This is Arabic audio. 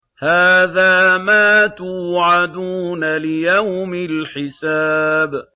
هَٰذَا مَا تُوعَدُونَ لِيَوْمِ الْحِسَابِ